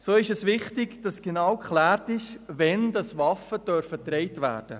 So ist es wichtig, dass genau geklärt wird, wann Waffen getragen werden dürfen.